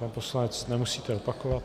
Pan poslanec - nemusíte opakovat.